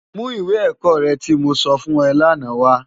Mú iwé èkò rè ti mó sòfún è làná wá